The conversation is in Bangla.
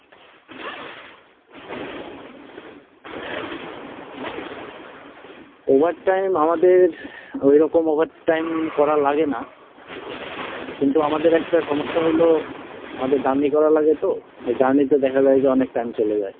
Over time আমাদের, ওইরকম over time করা লাগে না, কিন্তু আমাদের একটা সমস্যা হইলো, আমাদের journey করা লাগে তো, journey তে দেখা যায় যে অনেক time চলে যায়।